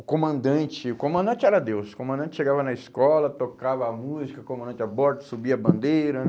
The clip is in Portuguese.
O comandante, o comandante era Deus, o comandante chegava na escola, tocava a música, o comandante aborto, subia a bandeira, né?